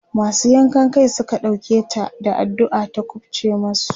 masu yankan Kai Suka ɗauke ta da addu'a ta kufce masu